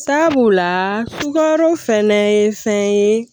Sabula tukaro fɛnɛ ye fɛn ye